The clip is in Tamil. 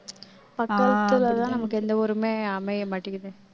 பக்கத்துல தான் நமக்கு எந்த ஊருமே அமைய மாட்டேங்குது